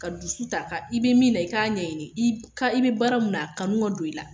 Ka dusu ta, i bi min na i ka ɲɛɲini i ka i be baara mun na a kanu ka don i la.